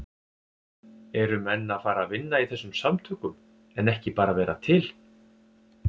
Eru menn að fara að vinna í þessum samtökum en ekki bara vera til?